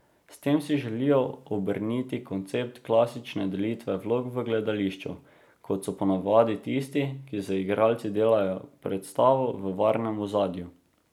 S tem si želijo obrniti koncept klasične delitve vlog v gledališču, ko so ponavadi tisti, ki z igralci delajo predstavo, v varnem ozadju.